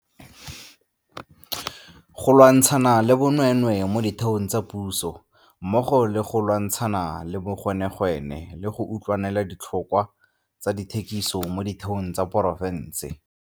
go lwantshana le bonweenwee mo ditheong tsa puso mmogo le go lwantsha na le bogwenegwene le go utlwanela ditlhotlhwa tsa dithekiso mo ditheong tsa poraefete.